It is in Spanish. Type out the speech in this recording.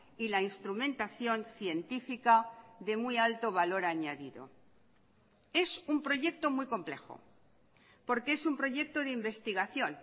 y la instrumentación científica de muy alto valor añadido es un proyecto muy complejo porque es un proyecto de investigación